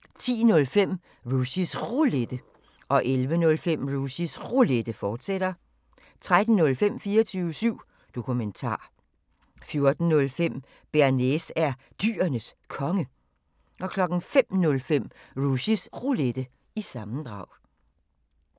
10:05: Rushys Roulette 11:05: Rushys Roulette, fortsat 13:05: 24syv Dokumentar 14:05: Bearnaise er Dyrenes Konge 05:05: Rushys Roulette – sammendrag